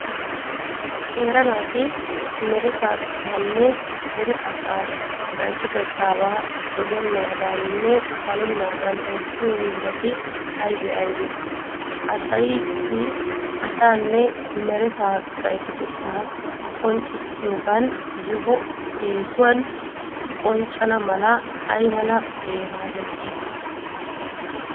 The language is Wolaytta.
Qeera naati meretaabaanne dere asaa gaytotettaabaa dogennaadaaninne balennaadan oottiyo hiillati aybee Aybee? Haysaayadi asaanne meretaa gaytotettaa qonccissiyogan yohoy eesuwan qonccana mala ay mala beeraa bessii?